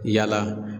Yala